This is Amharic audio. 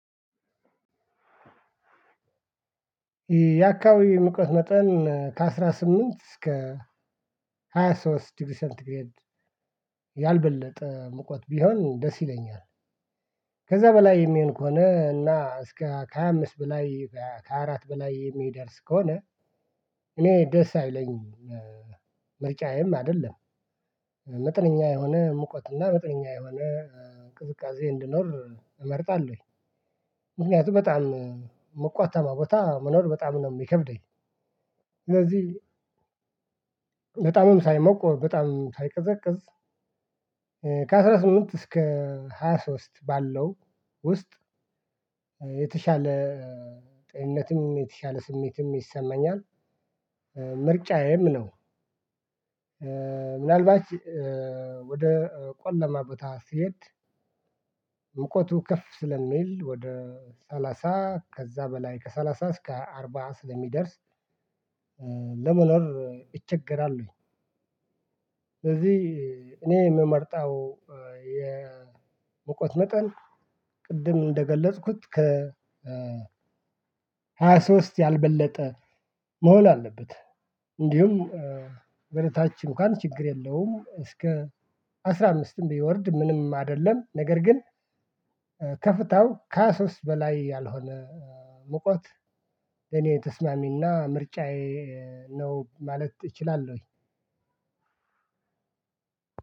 የአካባቢ ሙቀት መጠን ከአስራ ስምንት እስከ ሃያ ሶስት ዲሪሰንት ያልበለጠ መቁጠጥ ቢሆን ደስ ይለኛል። ከዛ በላይ የሚሆን ከሆነ እና እስከ ከሃያ አምስት በላይ ከአራት በላይ የሚደርስ ከሆነ። እኔ ደስ አይለኝም። ምርጫዬም አይደለም። መጠነኛ የሆነ ሙቀትና መጠነኛ የሆነ ቅዝቃዜ እንዲኖር እመርጣለሁ። ምክንያቱም በጣም ሞቃታማ ቦታ መኖር በጣም ነው የሚከብደኝ። እነዚህ ሳይሞቁ በጣም ሳይቀዘቅዝ ከአስራ ስምንት እስከ ሃያ ሶስት ባለው ውስጥ የተሻለ ጤንነትም የተሻለ ስሜትም ይሰማኛል። ምርጫዬም ነው። ምናልባት ወደ ቆለማ ቦታ ስሄድ። ሙቀቱ ከፍ ስለሚል ወደ ሰላሳ ከዛ በላይ ከሰላሳ እስከ አርባ ስለሚደርስ ለመኖር ይቸገራሉኝ ወይ? ስለዚህ እኔ የምመርጠው የሙቀት መጠን ቅድም እንደገለጽኩት ከ ሃያ ሶስት ያልበለጠ መሆን አለበት። እንዲሁም ወደታችን እንኳን ችግር የለውም እስከ አስራ አምስትም ቢወርድ ምንም አይደለም። ነገር ግን። ከፍታው ከሃያ ሶስት በላይ ያልሆነ ሙቀት ለኔ ተስማሚና ምርጫዬ ነው ማለት እችላለሁኝ።